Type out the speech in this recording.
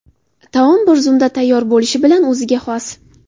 Taom bir zumda tayyor bo‘lishi bilan o‘ziga xos.